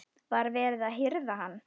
Var verið að hirða hann?